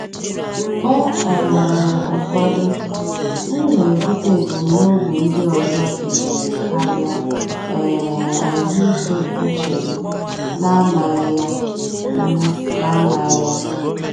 Mgbe um ụfọdụ, m na-ebute ebumnobi ndị ọzọ izizi karịa um ahụike uche m na-amaghị ya. m na-amaghị ya.